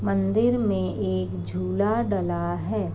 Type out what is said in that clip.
मंदिर में एक झूला डला है।